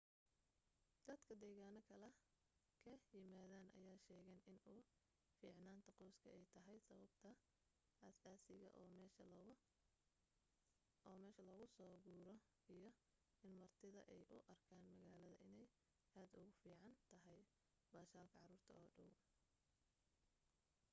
dadka deegaano kale ka yimaadeen ayaa sheegaan in u ficnaanta qoyska ay tahay sababta aasaasiga oo meesha loogu soo guuro iyo in martida ay u arkaan magaalada inay aad ugu fiicaan tahay baashaalka caruurta oo dhaw